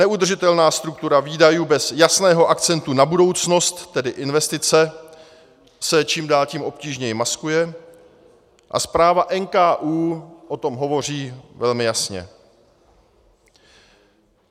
Neudržitelná struktura výdajů bez jasného akcentu na budoucnost, tedy investice, se čím dál tím obtížněji maskuje a zpráva NKÚ o tom hovoří velmi jasně.